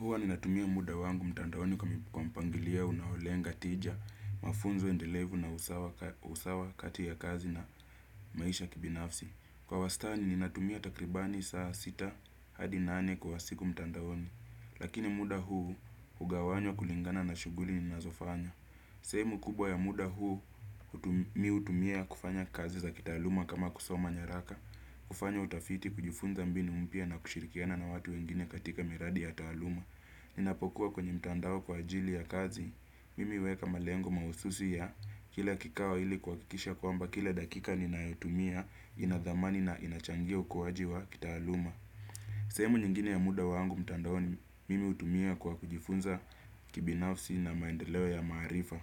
Huwa ni natumia muda wangu mtandaoni kwa mpangilio unaolenga tija, mafunzo endelevu na usawa kati ya kazi na maisha kibinafsi. Kwa wastani ni natumia takribani saa sita hadi nane kwa siku mtandaoni. Lakini muda huu ugawanywa kulingana na shughuli ni nazofanya. Sehemu kubwa ya muda huu mimi hutumia kufanya kazi za kitaaluma kama kusoma nyaraka. Kufanya utafiti kujifunza mbinu mpya na kushirikiana na watu wengine katika miradi ya taaluma. Ninapokuwa kwenye mtandao kwa ajili ya kazi, mimi huweka malengo mahususi ya kila kikao ili kuhakikisha kwamba kila dakika ninayotumia inathamani na inachangia ukuwaji wa kitaaluma. Sehemu nyingine ya muda wangu mtandaoni, mimi hutumia kwa kujifunza kibinafsi na maendeleo ya maarifa.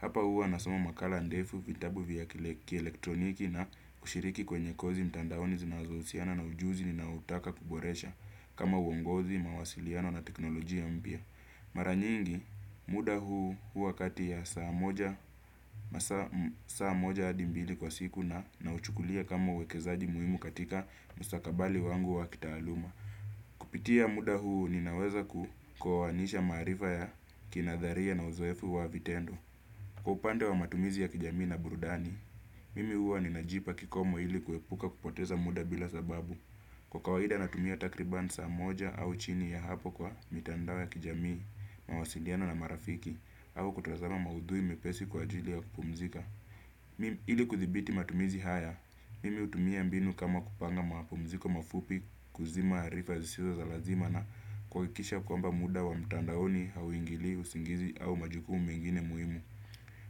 Hapa huwa na soma makala ndefu vitabu vya kielektroniki na kushiriki kwenye kozi mtandaoni zinazohusiana na ujuzi ninao utaka kuboresha kama uongozi, mawasiliano na teknolojia mpya. Maranyingi, muda huu wakati ya saa moja hadi mbili kwa siku na nauchukulia kama uwekezaji muhimu katika mustakabali wangu wa kitaaluma. Kupitia muda huu ninaweza kuoanisha maarifa ya kinadharia na uzoefu wa vitendo. Kwa upande wa matumizi ya kijamii na burudani, mimi huwa ni najipa kikomo ili kuepuka kupoteza muda bila sababu. Kwa kawaida natumia takribani saa moja au chini ya hapo kwa mitandao ya kijamii mawasiliano na marafiki au kutazama maudhui mepesi kwa ajili ya kupumzika. Mimi ili kuthibiti matumizi haya, mimi hutumia mbinu kama kupanga mapumziko mafupi kuzima arifa zisizo za lazima na kuha kikisha kwamba muda wa mtandaoni hauingilii usingizi au majukumu mengine muhimu.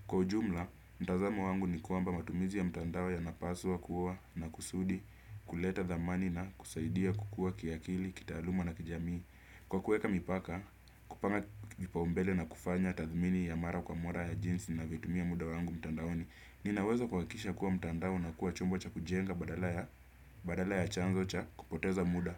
Kwa ujumla, mtazamo wangu ni kwamba matumizi ya mtandao ya napaswa kuwa na kusudi kuleta thamani na kusaidia kukua kiakili, kitaaluma na kijamii. Kwa kuweka mipaka, kupanga kipaumbele na kufanya tathmini ya mara kwa mara ya jinsi ninavyo tumia muda wangu mtandaoni. Nina uwezo kuha kikisha kuwa mtandao una kuwa chombo cha kujenga badala ya chanzo cha kupoteza muda.